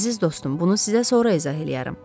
Əziz dostum, bunu sizə sonra izah eləyərəm.